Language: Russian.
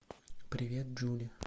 привет джули